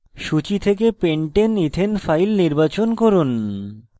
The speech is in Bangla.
সূচী থেকে pentaneethane file নির্বাচন করুন